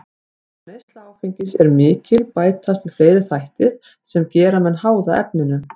Þegar neysla áfengis er mikil bætast við fleiri þættir sem gera menn háða efninu.